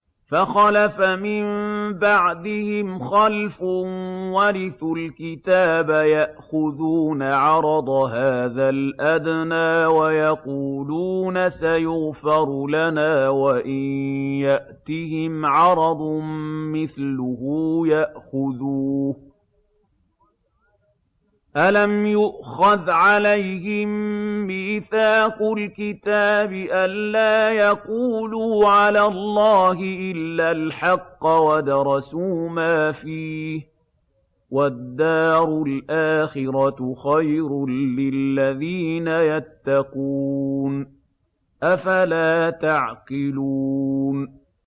فَخَلَفَ مِن بَعْدِهِمْ خَلْفٌ وَرِثُوا الْكِتَابَ يَأْخُذُونَ عَرَضَ هَٰذَا الْأَدْنَىٰ وَيَقُولُونَ سَيُغْفَرُ لَنَا وَإِن يَأْتِهِمْ عَرَضٌ مِّثْلُهُ يَأْخُذُوهُ ۚ أَلَمْ يُؤْخَذْ عَلَيْهِم مِّيثَاقُ الْكِتَابِ أَن لَّا يَقُولُوا عَلَى اللَّهِ إِلَّا الْحَقَّ وَدَرَسُوا مَا فِيهِ ۗ وَالدَّارُ الْآخِرَةُ خَيْرٌ لِّلَّذِينَ يَتَّقُونَ ۗ أَفَلَا تَعْقِلُونَ